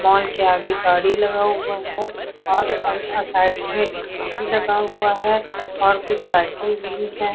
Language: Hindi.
मॉल के आगे गाड़ी लगा हुआ है और अ अ साइड में स्कूटी लगा हुआ है और कुछ साइकिल भी है।